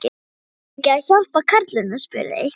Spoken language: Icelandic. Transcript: Eigum við ekki að hjálpa karlinum? spurði einhver.